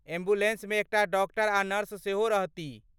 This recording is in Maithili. एम्बुलेन्समे एकटा डॉक्टर आ नर्स सेहो रहतीह।